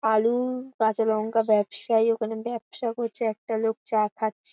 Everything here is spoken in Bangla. আলু-উ কাঁচালঙ্কা ব্যবসায়ী ওখানে ব্যবসা করছে একটা লোক চা খাচ্ছ--